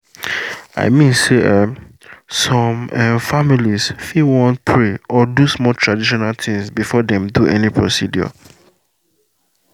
i mean say um some um families fit wan pray or do small traditional things before dem do any procedure